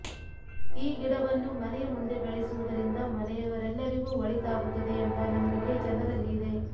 ಈ ಗಿಡವನ್ನು ಮನೆಯ ಮುಂದೆ ಬೆಳೆಸುವುದರಿಂದ ಮನೆಯವರೆಲ್ಲರಿಗೂ ಒಳಿತಾಗುತ್ತದೆ ಎಂಬ ನಂಬಿಕೆ ಜನರಲ್ಲಿ ಇದೆ